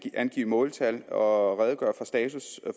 angive måltal og redegøre for status